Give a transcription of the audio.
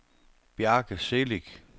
Bjarke Celik